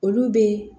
Olu bɛ